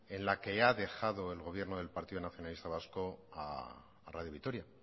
en la que ha dejado el gobierno del partido nacionalista vasco a radio vitoria